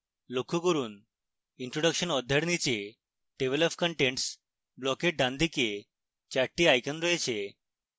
লক্ষ্য করুন introduction অধ্যায়ের নীচে table of contents ব্লকের ডানদিকে 4 the icons রয়েছে